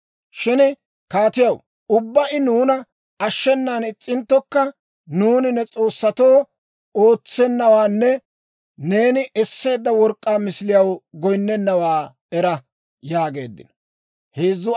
Shin kaatiyaw, ubbaa I nuuna ashshenan is's'inttokka, nuuni ne s'oossatoo ootsennawaanne neeni esseedda work'k'aa misiliyaw goyinnennawaa era» yaageeddino.